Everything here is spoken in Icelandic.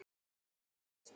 Ingi Hans.